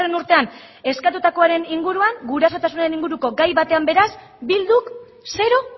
urtean eskatutakoaren inguruan gurasotasunaren inguruko gai batean beraz bilduk zero